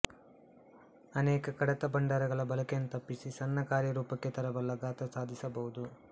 ಅನೇಕ ಕಡತಭಂಡಾರಗಳ ಬಳಕೆಯನ್ನು ತಪ್ಪಿಸಿ ಸಣ್ಣ ಕಾರ್ಯರೂಪಕ್ಕೆ ತರಬಲ್ಲ ಗಾತ್ರ ಸಾಧಿಸಬಹುದು